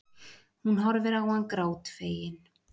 Hún horfir á hann grátfegin.